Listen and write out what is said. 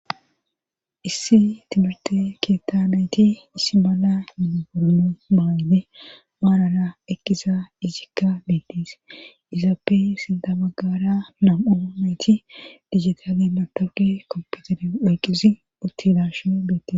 Issi timirte keetta nayti issi mala minboronu maayine maarara ekqiza izikka beediis izaappe sinda magara nam'oo nayti digitali matoge komputere oyqqisi utilashu beeie.